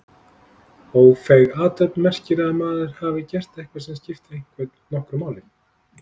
Ófeig athöfn merkir að maður hafi gert eitthvað sem skipti einhvern nokkru máli.